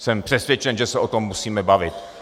Jsem přesvědčen, že se o tom musíme bavit.